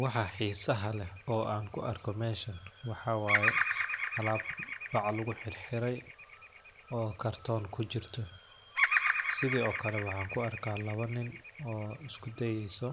Waxaa xisaha leh oo an kuarko meshan waxaa waye, alaab bac luguxirxirey oo karton kujirto. Sidhokale waxaan kuarkaah lawo nin oo isku deeyso